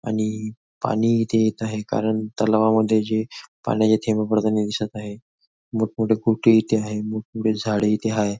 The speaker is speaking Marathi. आणि पानी इथे येत आहे कारण तलावामध्ये जे पाण्याचे थेंब पडतानी दिसत आहे मोठ मोठे इथे आहे मोठमोठे झाडे इथे आहे.